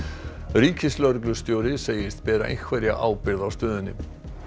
ríkislögreglustjóri segist bera einhverja ábyrgð á stöðunni